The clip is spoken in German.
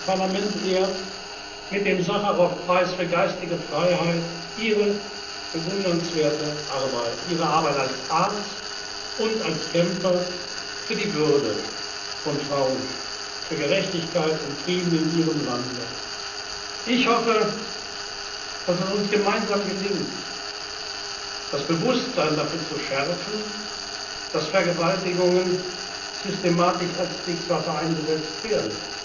Das Europäische Parlament ehrt mit dem Sacharow Preis für geistige Freiheit Ihre bewundernswerte Arbeit, ihre Arbeit als Arzt und als Kämpfer für die Würde von Frauen, für Gerechtigkeit und Frieden in Ihrem Land. Ich hoffe, dass es uns gemeinsam gelingt, das Bewusstsein dafür zu schärfen, dass Vergewaltigungen systematisch als Kriegswaffe eingesetzt